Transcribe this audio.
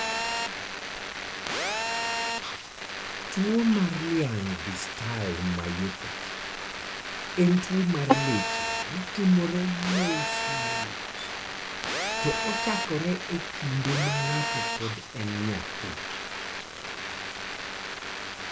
Tuwo mar Laing distal myopathy en tuwo mar leche matimore mos mos, to ochakore e kinde ma ng'ato pod en nyathi.